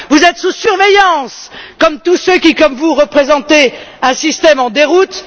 Vous êtes sous surveillance comme tous ceux qui, comme vous, représentez un système en déroute.